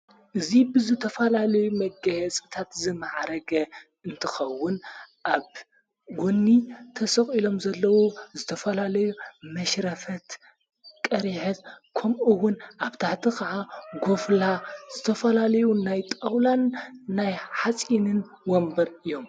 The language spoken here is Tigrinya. እዙይ ብዘ ተፈላለዩ መገየ ጽታት ዘመዓረገ እንትኸውን ኣብ ጐኒ ተስቕ ኢሎም ዘለዉ ዘተፈላለዩ መሽረፈት ቀርሀት ከምኡውን ኣብ ታህቲ ኸዓ ጐብላ ዝተፈላለዩ ናይ ጣውላን ናይ ሓጺንን ወንበር እዮም።